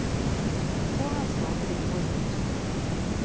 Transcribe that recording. Ta ansvar för det du har gjort.